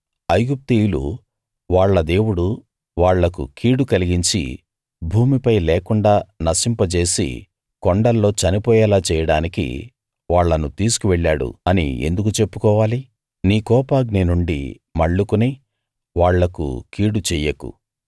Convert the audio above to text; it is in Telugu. ఐగుప్తీయులు వాళ్ళ దేవుడు వాళ్ళకు కీడు కలిగించి భూమిపై లేకుండా నశింపజేసి కొండల్లో చనిపోయేలా చేయడానికి వాళ్ళను తీసుకు వెళ్ళాడు అని ఎందుకు చెప్పుకోవాలి నీ కోపాగ్ని నుండి మళ్లుకుని వాళ్లకు కీడు చెయ్యకు